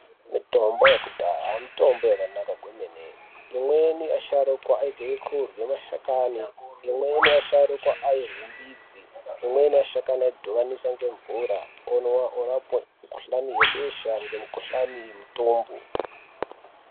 Mitombo yekudhaya mitombo yakanaka kwemene, imweni asharuka aita ekurya mashakani imweni asharuka airye midzi imweni shakani aidhibanisa ngemvura omwa orapa mukhuhlani yebesha ngemikhuhlani yemitombo.